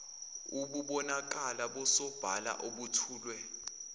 obubonakala busobala obethulwe